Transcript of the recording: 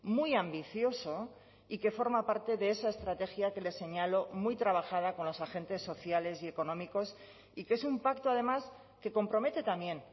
muy ambicioso y que forma parte de esa estrategia que le señalo muy trabajada con los agentes sociales y económicos y que es un pacto además que compromete también